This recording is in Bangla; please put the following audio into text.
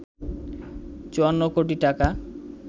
৫৪ কোটি টাকা